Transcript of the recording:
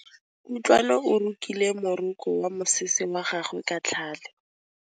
Kutlwanô o rokile morokô wa mosese wa gagwe ka tlhale.